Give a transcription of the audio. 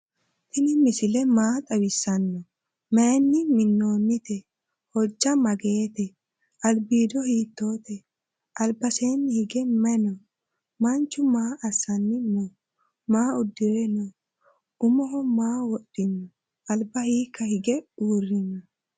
tinni misile maa xawisano? maayinni miinonite? hooja maagette? albido hiittote ?albasenni hige maayi noo? manchu maa asanni noo? maa uddire noo? uumoho maa wodhino? alba hika hige urino?